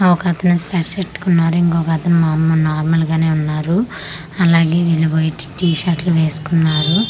ఆ ఒకతను స్పెట్స్ పెట్టుకున్నాడు ఇంకొక్క అతను మముల్ నార్మల్ గానే ఉన్నారు అలాగే వీళ్ళు వైట్ టి షర్ట్లు వేసుకున్నారు అలాగే.